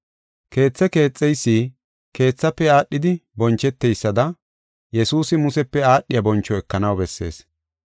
Keethe keexeysi keethafe aadhidi boncheteysada Yesuusi Musepe aadhiya boncho ekanaw bessees.